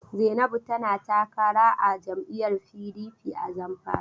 Zainabu tana takara a jam'lyyar PDP a Zamfara.